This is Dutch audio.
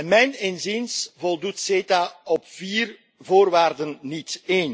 En mijn inziens voldoet CETA op vier voorwaarden niet.